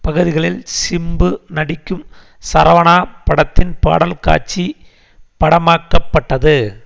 பகுதிகளில் சிம்பு நடிக்கும் சரவணா படத்தின் பாடல் காட்சி படமாக்க பட்டது